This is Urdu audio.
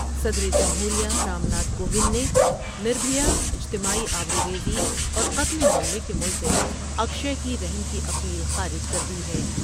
صدر جمہور یہ رام ناتھ کووند نے نر بھیا اجتماعی آبروریزی اور قتل معاملے کے ملزم اکشے کی رحم کی اپیل خارج کر دی ہے ۔